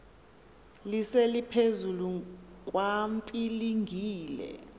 lise liphezulu kwapilingile